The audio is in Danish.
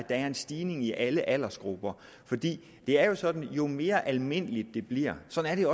er en stigning i alle aldersgrupper for det er jo sådan at jo mere almindeligt det bliver sådan er